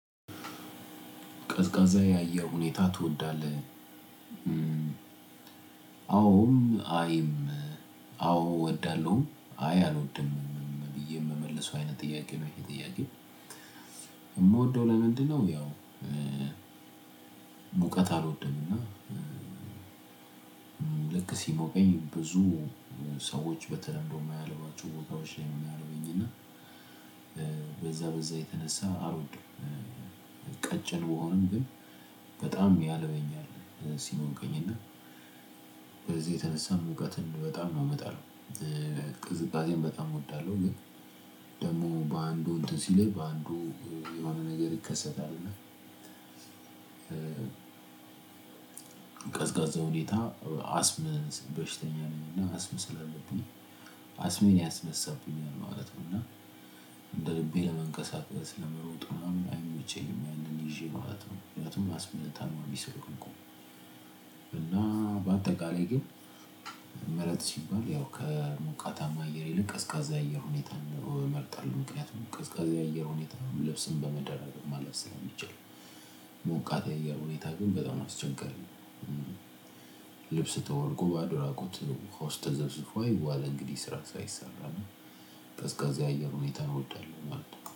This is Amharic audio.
ቀዝቃዛ ያየው ሁኔታ ትወዳለህ? አዎም አይም አዎ እወዳለሁም አይ አልወድምም ብዬ የምመልሰው አይነት ጥያቄ ነው። ይህ ጥያቄ የምወደው ለምንድነው? ያው እውቀት አልወድም እና ልክ ሲሞቀኝ ብዙ ሰዎች በተለምዶ የማያልባቸው ቦታዎች ውስጥ ነው የምያልኝና በዛ በዛ የተነሳ አልወድም። ቀጭን ብሆንም ግን በጣም ያልበኛል ሲሆን ሲሞቀኝና በዚህ የተነሳ ሙቀትን በጣም ነው የምጠላው። ቅዝቃዜን በጣም እወዳለው ግን ደግሞ በአንዱ እንትን ሲልህ በአንዱ የሆነ ነገር ይከሰታል። እና ሁኔታ አስም በሽተኛ ነው አስም ስላለብኝ አስምን ያስነሳብኛል ማለት ነው። እና እንደ ልቤ ለመንቀሳቀስ ለመሮጥ ምናምን አይመቸኝም ያንን ይዤ ማለት ነው። ማለትም አስም ታማሚ ስለሆንኩ እና በአጠቃላይ ግን ምረጥ ሲባል ያው ከሞቃታማ አየር ይልቅ ቀዝቃዛ የሆነ ሁኔታ ነው። እምርጣለው ምክንያቱም ቀዝቃዛ የሆነ ሁኔታ ነው ልብስን በመደረብ ማለፍ ስለሚችል ሞቃት የአየር ሁኔታ ግን በጣም አስቸጋሪ ነው። ልብስ ተወልቆ ባዶ እራቁት ወሃ ውስጥ ተዘፍዝፎ አይዋልም እንግዲህ ስራ ሳይሰራ እና ቅዝቃዜ አየር ሁኔታ እወዳለው ማለት ነው